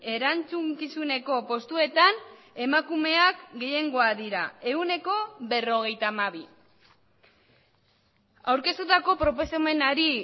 erantzukizuneko postuetan emakumeak gehiengoa dira ehuneko berrogeita hamabi aurkeztutako proposamenari